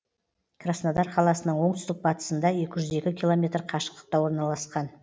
краснодар қаласының оңтүстік батысында екі жүз екі километр қашықтықта орналасқан